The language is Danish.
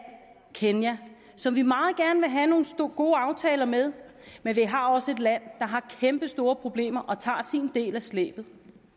kenya som vi meget gerne vil have nogle gode aftaler med men vi har også et land der har kæmpestore problemer og tager sin del af slæbet